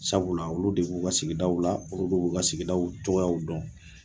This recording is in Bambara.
Sabula olu de b'u ka sigidaw la olu de b'u ka sigidaw cogoyaw dɔn.